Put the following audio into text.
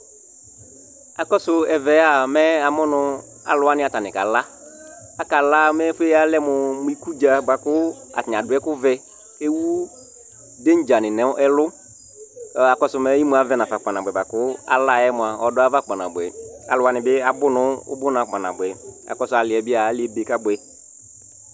Akɔsu ɛvɛa mɛ amʋnu aluwaŋi ataŋi kala Akala mɛ ɛfʋa yalɛ mu ikudza bʋa kʋ ataŋi aɖu ɛku vɛ kʋ ewu danger ni ŋu ɛlu Emu avɛma kpa nabʋɛ bʋakʋ alaɛ mʋa ɔɖu ayʋava kpa nabʋɛ Aluwaŋi bi abu ŋʋ ubʋna kpa nabʋɛ Aliɛ bi ebe kabʋɛ